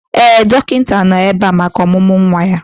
Ee, dọkịta nọ ebe a maka ọmụmụ nwa ya.